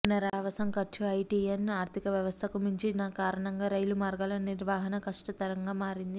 పునరావాసం ఖర్చు హైటీయన్ ఆర్ధికవ్యవస్థకు మించినకారణంగా రైలు మార్గాల నిర్వహణ కష్టతరంగా మారింది